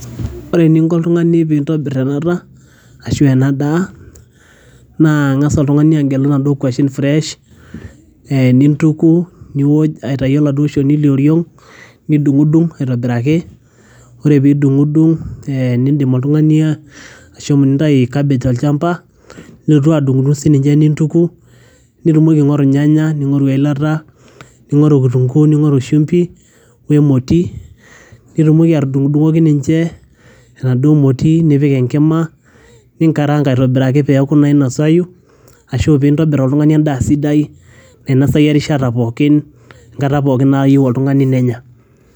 ore eninko oltung'ani pintobirr enata asu ena daa naa ing'as oltung'ani agelu inaduo kuashen fresh eh nintuku niwoj aitayu oladuo shoni lioring nidung'udung aitobiraki ore pidung'udung eh nindim oltung'ani ashomo nintai cabbage tolchamba nilotu adung'udung sininche nintuku nitumoki aing'oru ilnyanya nitumoki aing'oru eilata ning'oru kitunguu ning'oru shumbi wemoti nitumoki atudung'udung'oki ninche enaduo moti nipik enkima ninkarang aitobiraki peeku inainosayu ashu pintobirr oltung'ani endaa sidai nainasai erishata pookin enkata pookin nayieu oltung'ani nenya.